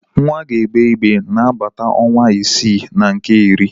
Nwa ga-egbe igbe n'agbata ọnwa isii na nke iri.